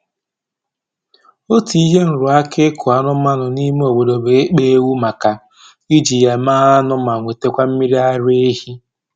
Otu ihe nrụaka ịkụ anụmanụ n'ime obodo bụ ịkpa ewu maka iji ya mee anụ ma nwetakwa mmiri ara ehi